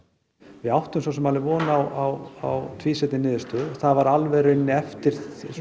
við áttum svo sem alveg von á tvísýnni niðurstöðu það var alveg í rauninni eftir